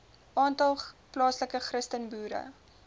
aantal plaaslike christenboere